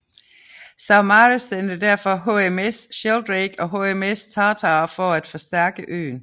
Saumarez sendte derfor HMS Sheldrake og HMS Tartar for at forstærke øen